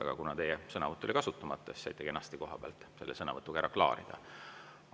Aga kuna teie sõnavõtt oli kasutamata, siis saite kenasti koha pealt selle asja sõnavõtuga ära klaarida.